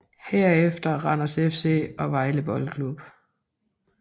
Herefter Randers FC og Vejle Boldklub